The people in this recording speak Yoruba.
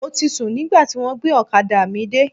Mo ti sùn nígbà tí wọ́n gbé ọ̀kadà mi dé.